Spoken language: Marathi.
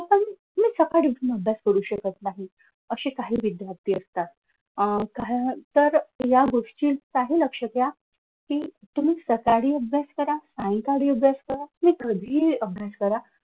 मी सकाळी उठून अभ्यास करू शकत नाही असे काही विद्यार्थी असतात तर या गोष्टीत काही लक्ष द्या कि तुम्ही सकाळी अभ्यास करा सायंकाळी अभ्यास करा तुम्ही कधीही अभ्यास करा.